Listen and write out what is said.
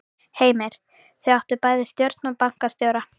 Heimir: Þá áttu bæði við stjórn og bankastjóra?